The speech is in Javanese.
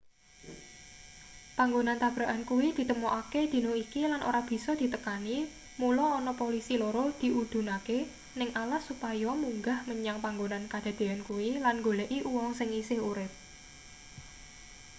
panggonan tabrakan kuwi ditemokake dina iki lan ora bisa ditekani mula ana polisi loro diudhunake ning alas supaya munggah menyang panggonan kadadeyan kuwi lan nggoleki uwong sing isih urip